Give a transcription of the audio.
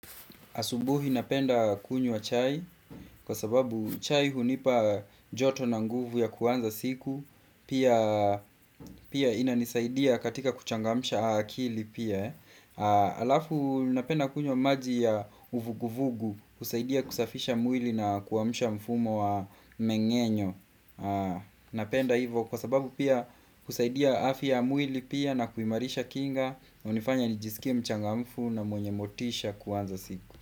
Asubuhi napenda kunywa wa chai kwa sababu chai hunipa joto na nguvu ya kuanza siku Pia ina nisaidia katika kuchangamusha akili pia Halafu napenda kunywa maji ya uvuguvugu kusaidia kusafisha mwili na kuamusha mfumo wa mmengenyo Napenda hivyo kwa sababu pia husaidia afya ya mwili pia na kuimarisha kinga hunifanya nijisikie mchangamfu na mwenye motisha kuanza siku.